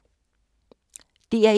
DR1